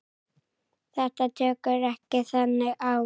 Þetta tekur ekki þannig á.